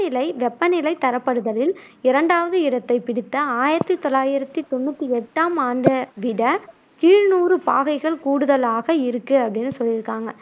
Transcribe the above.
வெப்பநிலைத் தரப்படுத்தலில் இரண்டாவது இடத்தைப்பிடித்த ஆயிரத்தி தொள்ளாயிரத்தி தொண்ணூத்தி எட்டாம் ஆண்டை விட சில கீழ்நூறு பாகைகள் கூடுதலாக இருக்கு அப்படின்னு சொல்லியிருக்காங்க.